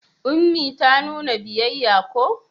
Ummi ta nuna biyayya ko?